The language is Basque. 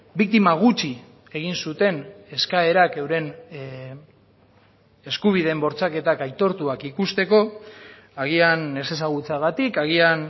biktima gutxi egin zuten eskaerak euren eskubideen bortxaketak aitortuak ikusteko agian ezezagutzagatik agian